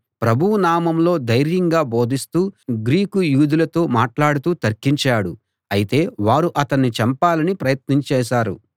ప్రభువు నామంలో ధైర్యంగా బోధిస్తూ గ్రీకు యూదులతో మాట్లాడుతూ తర్కించాడు అయితే వారు అతణ్ణి చంపాలని ప్రయత్నం చేశారు